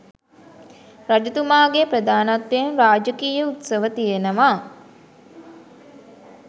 රජතුමාගේ ප්‍රධානත්වයෙන් රාජකීය උත්සව තියෙනවා.